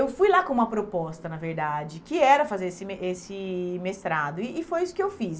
eu fui lá com uma proposta, na verdade, que era fazer esse mes esse mestrado, e e foi isso que eu fiz.